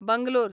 Bangalore